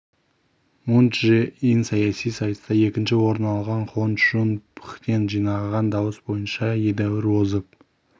мун чжэ ин саяси сайыста екінші орын алған хон чжун пхден жинаған дауыс бойынша едәуір озып